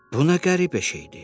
Buna qəribə şeydir.